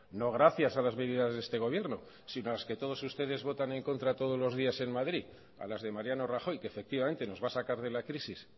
no gracias a las medidas de este gobierno sino a las que todos ustedes votan en contra todos los días en madrid a las de mariano rajoy que efectivamente nos va a sacar de la crisis